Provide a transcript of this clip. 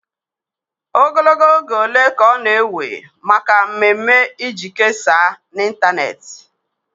Ogologo oge ole ka ọ na-ewe maka mmemme iji kesaa na ịntanetị?